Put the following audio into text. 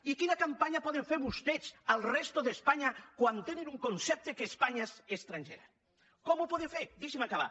i quina campanya poden fer vostès a la resta d’espanya quan tenen un concepte que espanya és estrangera com ho poden fer deixi’m acabar